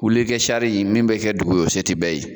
Wuli kɛ cari min bɛ kɛ dugun ye o se tɛ bɛɛ ye